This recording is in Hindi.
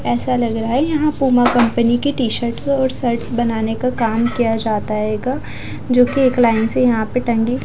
ऐसा लग रहा है यहां पूमा कंपनी की टी शर्टस और शर्टस बनाने का काम किया जाता है एयगा जो की एक लाइन से यहां पे टंगी--